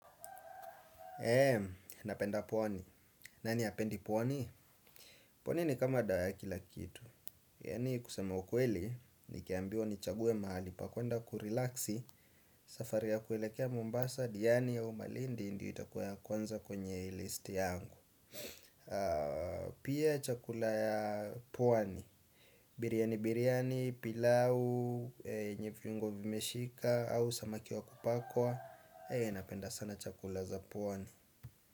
Eee, napenda pwani. Nani hapendi pwani? Pwani ni kama dawa ya kila kitu. Yani kusema ukweli, nikiambiwa nichague mahali pa kwenda kurilaksi, safari ya kuelekea Mombasa, Diani au malindi, ndio itakuwa ya kwanza kwenye listi yangu. Pia chakula ya pwani. Biryani-biryani, pilau, yenye viungo vimeshika, au samaki wa kupakwa. Eee, napenda sana chakula za pwani.